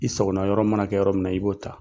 I sagona yɔrɔ mana kɛ yɔrɔ min na, i b'o ta.